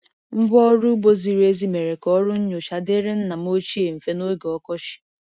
Ngwa ọrụ ugbo ziri ezi mere ka ọrụ nnyocha dịrị nna m ochie mfe n’oge ọkọchị.